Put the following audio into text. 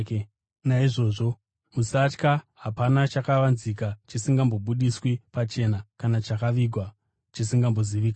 “Naizvozvo musavatya. Hapana chakavanzika chisingazobudiswi pachena kana chakavigwa chisingazozivikanwi.